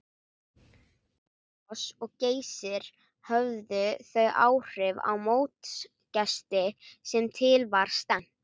Gullfoss og Geysir höfðu þau áhrif á mótsgesti sem til var stefnt.